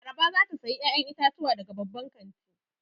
Laraba za ta sayi 'ya'yan itatuwa daga babban kanti.